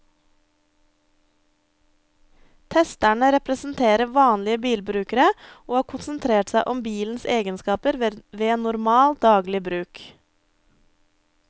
Testerne representerer vanlige bilbrukere og har konsentrert seg om bilens egenskaper ved normal, daglig bruk.